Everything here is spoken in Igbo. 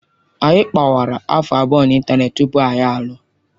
Anyị kpawara afọ abụọ na ịntanetị tupu anyị alụọ.